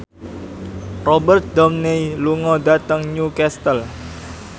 Robert Downey lunga dhateng Newcastle